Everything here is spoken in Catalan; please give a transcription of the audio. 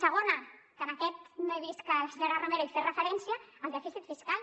segon que a aquest no he vist que la senyora romero hi fes referència el dèficit fiscal